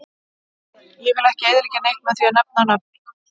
Ég vill ekki eyðileggja neitt með því að nefna nöfn.